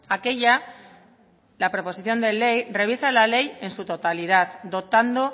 aquella la proposición de ley revisa la ley en su totalidad dotando